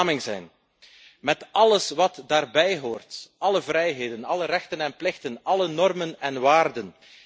Vlaming zijn met alles wat daarbij hoort, alle vrijheden, alle rechten en plichten, alle normen en waarden.